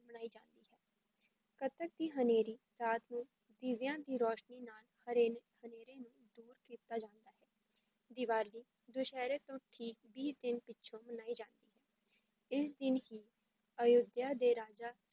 ਕੱਤਕ ਦੀ ਹਨੇਰੀ ਰਾਤ ਨੂੰ ਦੀਵਿਆਂ ਦੀ ਰੋਸ਼ਨੀ ਨਾਲ ਹਰੇਨੇ ਹਨੇਰੇ ਨੂੰ ਦੂਰ ਕੀਤਾ ਜਾਂਦਾ ਹੈ, ਦੀਵਾਲੀ ਦੁਸ਼ਹਿਰੇ ਤੋਂ ਠੀਕ ਵੀਹ ਦਿਨ ਪਿੱਛੋਂ ਮਨਾਈ ਜਾਂਦੀ ਹੈ, ਇਸ ਦਿਨ ਹੀ ਅਯੋਧਿਆ ਦੇ ਰਾਜਾ